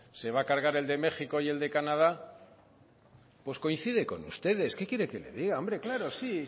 se va a cargar el de méxico y el de canadá pues coincide con ustedes qué quiere que le diga hombre claro